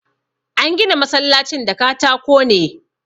An gina masallacin da katako ne.